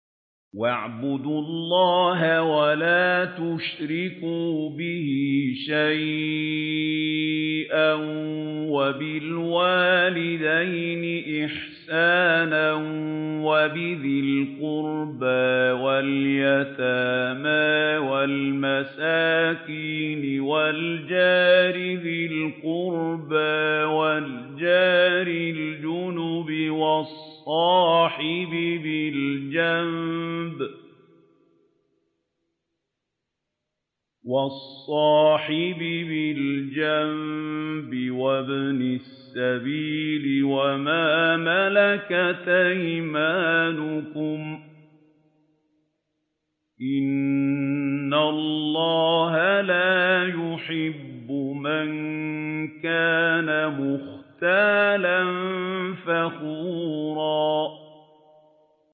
۞ وَاعْبُدُوا اللَّهَ وَلَا تُشْرِكُوا بِهِ شَيْئًا ۖ وَبِالْوَالِدَيْنِ إِحْسَانًا وَبِذِي الْقُرْبَىٰ وَالْيَتَامَىٰ وَالْمَسَاكِينِ وَالْجَارِ ذِي الْقُرْبَىٰ وَالْجَارِ الْجُنُبِ وَالصَّاحِبِ بِالْجَنبِ وَابْنِ السَّبِيلِ وَمَا مَلَكَتْ أَيْمَانُكُمْ ۗ إِنَّ اللَّهَ لَا يُحِبُّ مَن كَانَ مُخْتَالًا فَخُورًا